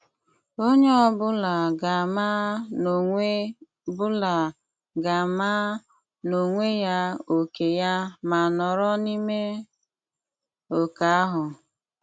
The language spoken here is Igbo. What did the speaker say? Onye ọ bụla ga-ama n'onwe bụla ga-ama n'onwe ya ókè ya ma nọrọ n'ime oke ahụ.